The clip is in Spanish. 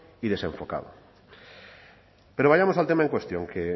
y desenfocado pero vayamos al tema en cuestión que